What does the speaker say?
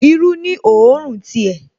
Irú ní òórùn ti ẹ̀